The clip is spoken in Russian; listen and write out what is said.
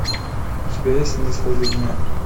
у тебя есть на исходе дня